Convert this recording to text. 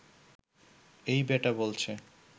এই বেটা বলছে